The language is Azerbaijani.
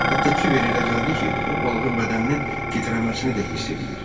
Hətta Kiberə elə gəldi ki, o balığın bədəninin titrəməsini də hiss eləyir.